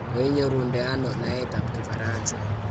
koinyorunde ano naetab kifaransa?